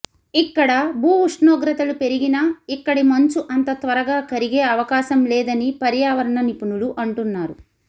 ఇక్కడ భూ ఉష్ణోగ్రతలు పెరిగినా ఇక్కడి మంచు అంత త్వరగా కరిగే అవకాశం లేదని పర్యావరణ నిపుణులు అంటున్నారు